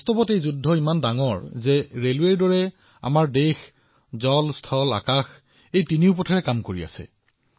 দৰাচলতে এই যুঁজখন ইমানেই ডাঙৰ যে ৰেলৱেৰ দৰে আমাৰ দেশখনে তিনিওটা পথ জল নভ উভয়তে কাম কৰি আছে